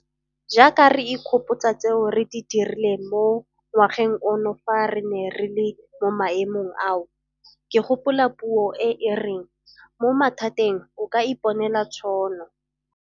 Jaaka re ikgopotsa tseo re di dirileng mo ngwageng ono fa re ne re le mo maemong ao, ke gopola puo e e reng 'mo mathateng o ka iponela tšhono'.